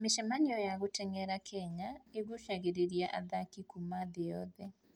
Mĩcemanio ya gũteng'era Kenya ĩgucagĩrĩria athaki kuuma thĩ yothe.